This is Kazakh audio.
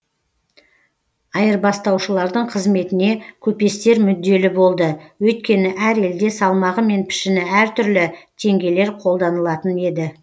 айырбастаушылардың қызметіне көпестер мүдделі болды өйткені әр елде салмағы мен пішіні әр түрлі теңгелер қолданылатын еді